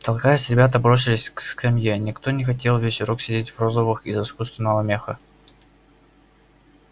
толкаясь ребята бросились к скамье никто не хотел весь урок сидеть в розовых из искусственного меха